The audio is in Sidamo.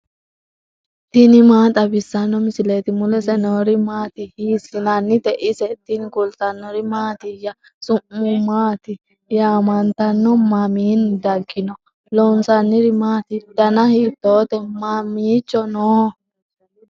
tini maa xawissanno misileeti ? mulese noori maati ? hiissinannite ise ? tini kultannori mattiya? su'ma maatti yaamanttanno? maminni daginno? loonsanniri maatti? danna hiittotte? mamiicho noo?